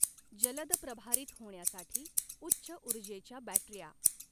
जलद प्रभारित होण्यासाठी उच्च ऊर्जेच्या बॅटऱ्या.